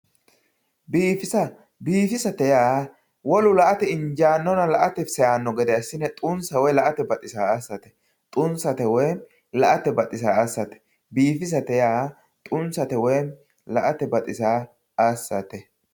biifisa biifisate yaa wolu la"ate injaanonna la"ate seyaano gede assine xunsa woy la"ate baxisaa assate xunsa woy la"ate baxisaa assate biifisate yaa xunsa woy la"ate baxisaa assate.